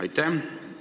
Aitäh!